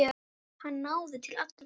Hann náði til allra.